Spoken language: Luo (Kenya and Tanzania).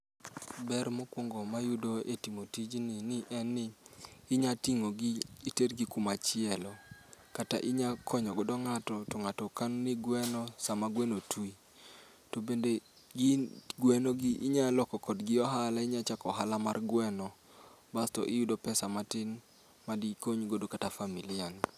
Ber mokwongo ma iyudo e timo tijni en ni inya ting'o gi itergi kuma chielo. Kata inya konyo godo ng'ato to ng'ato kano ni gweno sama gweno twi. To bende gin gweno gi inya loko kodgi ohala, inya loko ohala mar gweno. Basto iyudo pesa matin ma dikony godo kata familia ni.